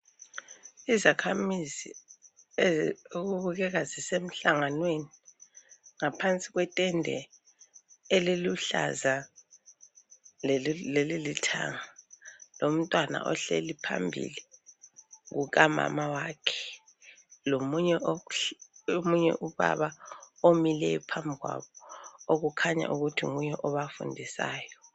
Izakhamizi okubukeka zisemhlanganweni ngaphansi kwetende eliluhlaza, leli lilanga lomntwana ohleli phambi kukamama wakhe. Lomunye ubaba ome phambili okukhanya ukuthi nguye obafundisayo.